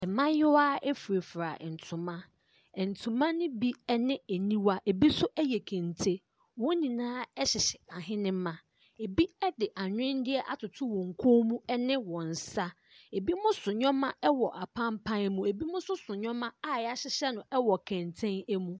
Mmaayewa furafura ntoma. Ntoma no bi ne aniwa. Ebi nso yɛ kente. Wɔn nyinaa hyehyɛ ahenema. Ebi de anwenneɛ atoto wɔ koom ne wɔn nsa. Ebi so nneɛma wɔ apampan mu. Ebinom nso so nnoɔma a yɛahyehyɛ no wɔ kɛntɛn mu.